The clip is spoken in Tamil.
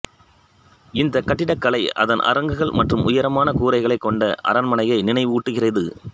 இந்த கட்டிடக்கலை அதன் அரங்குகள் மற்றும் உயரமான கூரைகளைக் கொண்ட அரண்மனையை நினைவூட்டுகிறது